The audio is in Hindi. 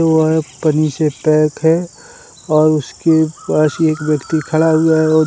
वह पन्नी से पैक है और उसके पास एक व्यक्ति खड़ा हुआ है और --